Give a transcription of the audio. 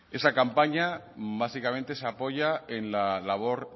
esa campaña básicamente se apoya en la labor